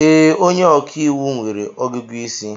Ee, onye ọkàiwu nwere ọgụgụ isi.